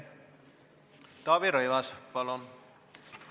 Taavi Rõivas, palun!